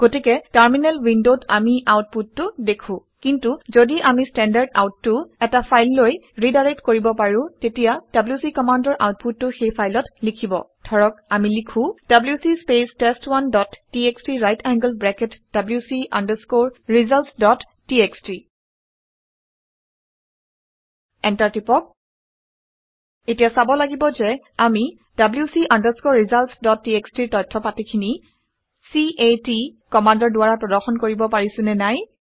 গতিকে টাৰ্মিনেল উইনডত আমি আউট পুটটো দেখো। কিন্তু ঘদি আমি ষ্টেণ্ডাৰ্ড আউট Standardout টো এটা ফাইললৈ ৰিডাইৰেক্ট কৰিব পাৰো তেতিয়া ডব্লিউচি কমাণ্ডৰ আউটপুটটো সেই ফাইলত লিখিব। ধৰক আমি লিখো - WC space test one dot TXT right angled bracket wc results dot TXT enter press কৰক। এতিয়া চাব লাগিব যে আমি wc results ডট txt ৰ তথ্য পাতিখিনি c a ট কমাণ্ডৰ দ্বাৰা প্ৰদৰ্শন কৰিব পাৰিছোঁ নে নাই